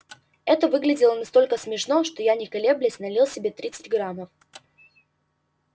это выглядело настолько смешно что я не колеблясь налил себе тридцать граммов